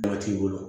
Mɔgɔ t'i bolo